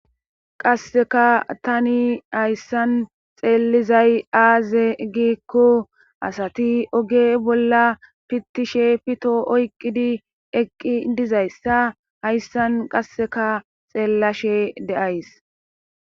qasseka tani hayssan xeellizay aaze gikko asati oge bolla pittishe pito oyqqidi eqqi dizayssa hayssan qasseka xeellashe deays